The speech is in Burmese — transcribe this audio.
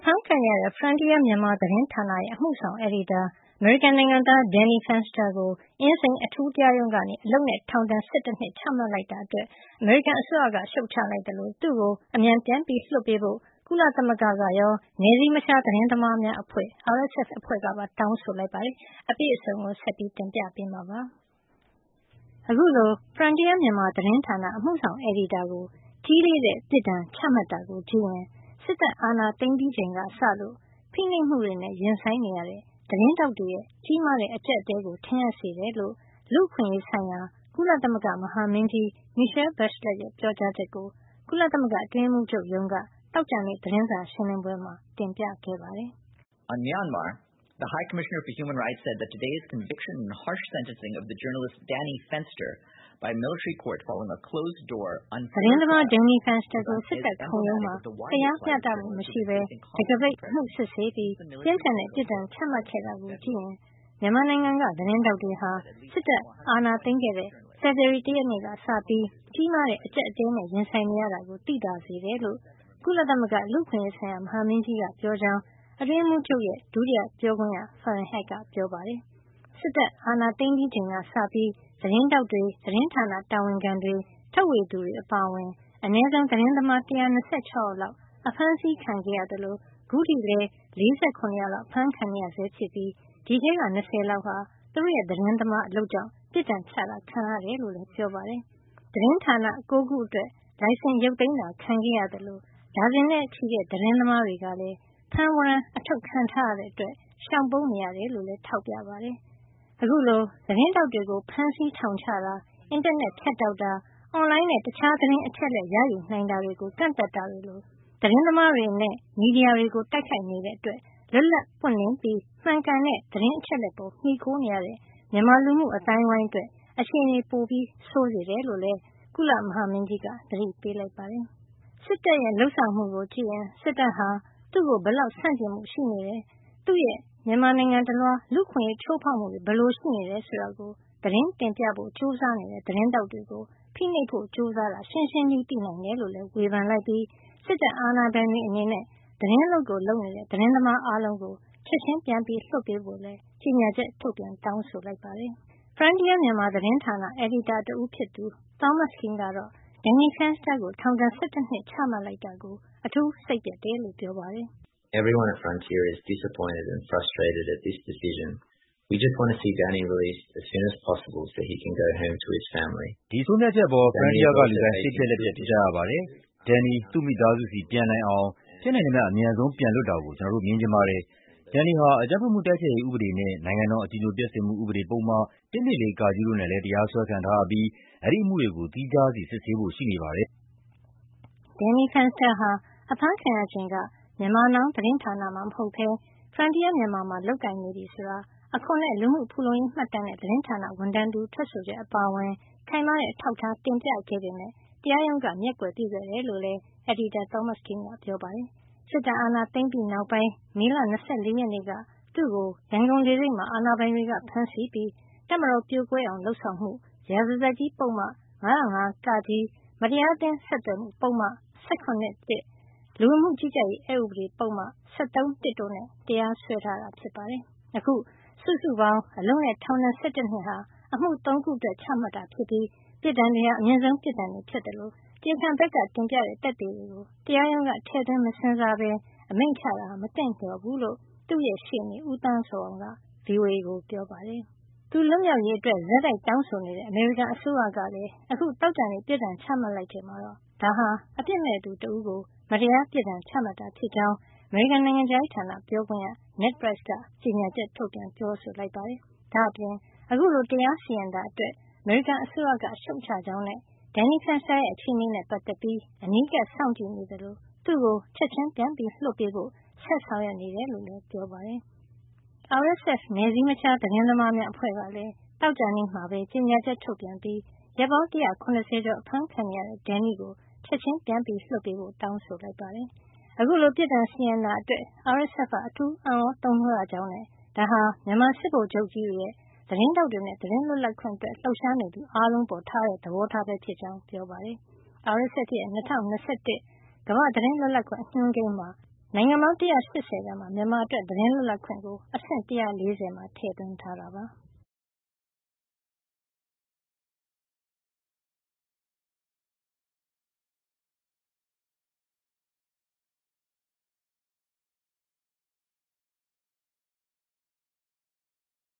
အဖမ်းခံနေရတဲ့ Frontier Myanmar သတင်းဌာနရဲ့ အမှုဆောင်အယ်ဒီတာ အမေရိကန်နိုင်ငံသား Danny Fenster ကို အင်းစိန်အထူးတရားရုံးက အလုပ်နဲ့ ထောင်ဒဏ် ၁၁ နှစ် ချမှတ်လိုက်တာအတွက် အမေရိကန်အစိုးရက ရှုတ်ချလိုက်သလို သူ့ကို အမြန်ပြန်လွှတ်ပေးဖို့ ကုလသမဂ္ဂ ကရော နယ်စည်းမခြားသတင်းသမားများအဖွဲ့ RSF အဖွဲ့ကပါ တောင်းဆိုလိုက်ပါတယ်။ အပြည့်အစုံကို ဆက်ပြီး ပြောပြပေးမှာပါ။ အခုလို Frontier Myanmar သတင်းဌာန အမှုဆောင်အယ်ဒီတာကို ကြီးလေးတဲ့ပြစ်ဒဏ် ချမှတ်တာကိုကြည့်ရင် စစ်တပ်အာဏာသိမ်းပြီးချိန်ကစလို့ ဖိနှိပ်မှုတွေနဲ့ ရင်ဆိုင်နေရတဲ့ သတင်းထောက်တွေ ရဲ့ ကြီးမားတဲ့အကျပ်အတည်းကို ထင်ဟပ်စေတယ်လို့ လူ့အခွင့်ရေးဆိုင်ရာ ကုလသမဂ္ဂ မဟာမင်းကြီး Michele Bachelet ရဲ့ ပြောကြားချက်ကို ကုလသမဂ္ဂအတွင်းရေးမှုးချုပ်ရုံးက သောကြာနေ့ သတင်းစာရှင်းလင်းပွဲမှာ တင်ပြခဲ့ပါတယ် သတင်းသမား Danny Fenster ကို စစ်တပ်ခုံရုံးမှာ တရားမျှတမှုမရှိပဲ တံခါးပိတ်အမှုစစ်ဆေးပြီး ပြင်းထန်တဲ့ အပြစ်ဒဏ်ချမှတ်ခဲ့တာကို ကြည့်ရင် မြန်မာနိုင်ငံက သတင်းထောက်တွေဟာ စစ်တပ်အာဏာသိမ်းခဲ့တဲ့ ဖေဖေါ်ဝါရီ ၁ ရက်ကစပြီး ကြီးမားတဲ့အကျပ်အတည်းနဲ့ ရင်ဆိုင်နေရတာကို သိသာစေတယ် ကုလသမဂ္ဂလူ့အခွင့်ရေးဆိုင်ရာ မဟာမင်းကြီးက ပြောကြောင်း အတွင်းရေးမှုးချုပ်ရဲ့ ဒုတိယပြောခွင့်ရ Farhan Haq က ပြောပါတယ်။ စစ်တပ်အာဏာသိမ်းပြီးချိန်ကစပြီး သတင်းထောက်တွေ သတင်းဌာနတာဝန်ခံတွေ ထုတ်ဝေသူတွေ အပါအဝင် အနည်းဆုံး သတင်းသမား ၁၂၆ ယောက်လောက် အဖမ်းဆီးခံခဲ့ရသလို ခုထိလည်း ၄၇ ယောက်လောက် အဖမ်းခံနေရဆဲဖြစ်ပြီး အဲဒီထဲက ၂၀ လောက်ဟာ သူတို့ရဲ့ သတင်းသမားအလုပ်ကြောင့် အပြစ်ဒဏ်ချမှတ်တာခံခဲ့ရတယ် လို့လည်းပြောပါတယ်။သတင်းဌာန ၉ ခုအတွက် လိုင်စင် ရုတ်သိမ်းတာခံခဲ့ ရသလို ဒါဇင်နဲ့ချီတဲ့ သတင်းသမား တွေကလည်း ဖမ်းဝရမ်းအထုတ်ခံထားရတာကြောင့် ရှောင်ပုန်းနေကြရတယ်လို့လည်း ထောက်ပြပါတယ်။ အခုလို သတင်းထောက်တွေကို ဖမ်းဆီး ထောင်ချတာ၊ အင်တာနက်ဖြတ်တောက်တာ။ အွန်လိုင်းနဲ့ တခြားသတင်းအချက်လက်ရယူနိုင်တာတွေကို ကန့်သတ်တာတွေလို သတင်းသမားတွေနဲ့ မီဒီယာတွေကို တိုက်ခိုက်နေတာကြောင့် လွတ်လပ်ပွင့်လင်းပြီး မှန်ကန်တဲ့ သတင်းအချက်လက်တွေပေါ်မှီခိုနေရတဲ့ မြန်မာလူမှုအသိုင်းဝိုင်းအတွက် အခြေနေပိုဆိုးစေတယ်လို့လည်း ကုလမဟာမင်းကြီးက သတိပေးလိုက်ပါတယ်။ စစ်တပ်ရဲ့ လုပ်ဆောင်မှုကိုကြည့်ရင် စစ်တပ်ဟာ သူ့ကို ဘယ်လောက်ဆန့်ကျင်မှု ရှိနေတယ်၊ သူ့ရဲ့ မြန်မာနိုင်ငံတလွှား လူ့အခွင့်ရေးချိုးဖေါက်မှုတွေ ဘယ်လိုရှိတယ်ဆိုတာကို သတင်းတင်ပြဖို့ ကြိုးစားနေတဲ့ သတင်းထောက်တွေကို ဖိနှိပ်ဖို့ ကြိးစားနေတာ ရှင်းရှင်းကြီး သိနိုင်တယ်လို့လည်း ဝေဖန်လိုက်ပြီး စစ်တပ်အာဏာပိုင်တွေ အနေနဲ့ သတင်းအလုပ်ကို လုပ်နေတဲ့ သတင်းသမားအားလုံးကို ချက်ချင်း ပြန်ပြီး လွှတ်ပေးဖို့လည်း ကြေညာချက် ထုတ်ပြန် တောင်းဆိုလိုက်ပါတယ်။ Frontier Myanmar သတင်းဌာနအယ်ဒီတာ တဦးဖြစ်သူ Thomas Kean ကတော့ Danny Fenster ကို ထောင်ဒဏ် ၁၁ နှစ် ချမှတ်လိုက်တာကို အထူးစိတ်ပျက်ရကြောင်း ပြောပါတယ်။ "ဒီဆုံးဖြတ်ချက်အပေါ် Frontier က လူတိုင်း စိတ်ပျက်လက်ပျက်ဖြစ်ကြရပါတယ်။ Danny သူ့မိသားစုဆီ ပြန်နိုင်အောင် ဖြစ်နိုင်သမျှ အမြန်ဆုံးပြန်လွတ်တာကို ကျနော်တို့မြင်ချင်ပါတယ်။ Danny ဟာ အကြမ်းဖက်မှု တိုက်ဖျက်ရေးဥပဒေနဲ့ နိုင်ငံတော်အကြည်ညိုပျက်စေမှုဥပဒေပုဒ်မ ၁၂၄ (က) တို့နဲ့လည်း တရားစွဲခံထားရပြီး အဲဒီအမှုတွေကို သီးခြားစီ စစ်ဆေးဖို့ရှိနေပါတယ်" Danny Fenster ဟာ ဖမ်းဆီးခံရချိန်က Myanmar Now သတင်းဌာနမှာ လုပ်ကိုင်နေတာမဟုတ်တော့ဘဲ Frontier Myanmar မှာ လုပ်ကိုင်နေပြီဆိုတာ အခွန်နဲ့ လူမှုဖူလုံရေးမှတ်တမ်းနဲ့ သတင်းဌာနက ဝန်ထမ်းတဦးရဲ့ ထွက်ဆိုချက်အပါအဝင် ခိုင်မာတဲ့အထောက်အထားတွေ တင်ပြခဲ့ပေမယ့်လည်း တရားရုံးက မျက်ကွယ်ပြုခဲ့တယ်လို့လည်း အယ်ဒီတာ Thomas Kean ကပြောပါတယ်။ စစ်တပ်အာဏာသိမ်းပြီးနောက်ပိုင်း မေလ ၂၄ ရက်နေ့က Danny Fenster ကို ရန်ကုန်လေဆိပ်မှာ အာဏာပိုင်တွေက ဖမ်းဆီးပြီး တပ်မတော် ပြိုကွဲအောင်လုပ်ဆောင်မှု ရာဇသတ်ကြီး ပုဒ်မ ၅၀၅ (က)၊ မတရားအသင်းဆက်သွယ်မှု ပုဒ်မ ၁၇ (၁)၊ လူဝင်မှု ကြီးကြပ်ရေး အက်ဥပဒေ ပုဒ်မ ၁၃ (၁) တို့နဲ့ တရားစွဲထား တာဖြစ်ပါတယ်။ အခု စုစုပေါင်း အလုပ်နဲ့ ထောင်ဒဏ် ၁၁ နှစ်ဟာ အမှု ၃ ခုအတွက် ချလိုက်တာ ဖြစ်ပြီး ပြစ်ဒဏ်တွေဟာ အမြင့်ဆုံးပြစ်ဒဏ်တွေဖြစ်သလို တရားခံဘက်ကတင်ပြတဲ့ သက်သေတွေကို တရားရုံးက ထည့်သွင်းမစဉ်းစားဘဲ အမိန့်ချလိုက်တာဟာ မသင့်လျော် ဘုူးလို့လည်း Danny Fenster ရဲ့ ရှေ့နေ ဦးသန်းဇော်အောင်က ဗွီအိုအေကို ပြောပါတယ်။ သူလွတ်မြောက်ရေး အတွက် ဆက်တိုက်တောင်းဆိုနေတဲ့ အမေရိကန်အစိုးရကလည်း အခု သောကြာနေ့ ပြစ်ဒဏ်ချမှတ်လိုက်ချိန်မှာတော့ ဒါဟာ အပစ်မဲ့သူတဦးကို မတရား ပြစ်ဒဏ်ချမှတ်တာ ဖြစ်ကြောင်း အမေရိကန် နိုင်ငံခြားရေးဌာန ပြောခွင့်ရ Ned Price က ကြေညာချက် ထုတ်ပြန်ပြောဆိုလိုက်ပါတယ်။ ဒါ့အပြင် ဒီလို တရားစီရင်တာ အတွက် အမေရိကန်အစိုးရက ရှုတ်ချကြောင်းနဲ့ Danny Fenster ရဲ့ အခြေနေနဲ့ ပတ်သက်ပြီး အနီးကပ်စောင့်ကြည့်နေသလို သူ့ကို ချက်ချင်း ပြန်လွှတ်ပေးဖို့ ဆက်လက်ဆောင်ရွက်နေကြောင်း ပြောကြားခဲ့ပါတယ်။ သောကြာနေ့မှာပဲ ကြေညာချက် ထုတ်ပြန်ပြီး ရက်ပေါင်း ၁၇၀ ကျော် အဖမ်းခံနေရတဲ့ Danny ကို ချက်ချင်း ပြန်လွှတ်ပေးဖို့ တောင်းဆိုလိုက်ပါတယ်။ အခုလို ပြစ်ဒဏ်စီရင်တာအတွက် RSF က အထူးအံ့သြတုန်လှုပ်ရကြောင်းနဲ့ ဒါဟာ မြန်မာ စစ်ဗိုလ်ချုပ်ကြီးတွေရဲ့ သတင်းထောက်တွေနဲ့ သတင်းလွှတ်လပ်ခွင့်အတွက် ရုန်းကန်နေရသူ အားလုံး အပေါ် ထားတဲ့ သဘောထားပဲ ဖြစ်ကြောင်း ပြောပါတယ်။ RSF ရဲ့ ၂၀၂၁ ခုနှစ်အတွက် ကမ္ဘာ့သတင်းလွတ်လပ်ခွင့် အညွန်းကိန်းမှာ နိုင်ငံပေါင်း ၁၈၀ ထဲမှာ မြန်မာအတွက် သတင်းလွတ်လပ်ခွင့်ကို အဆင့် ၁၄၀ မှာ ထည့်သွင်းထားတာပါ။